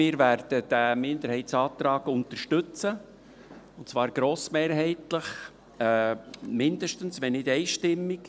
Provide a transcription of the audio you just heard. Wir werden diesen Minderheitsantrag unterstützen, und zwar grossmehrheitlich – mindestens –, wenn nicht einstimmig.